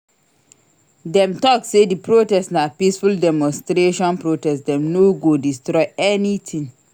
Dem tok sey di protest na peaceful demonstration protest dem no go destroy anytin.